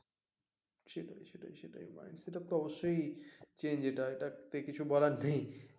সেটাই সেটাই সেটাই সেটা তো অবশ্যই change এটা এটাতে বলার কিছু নেই